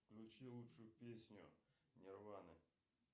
включи лучшую песню нирваны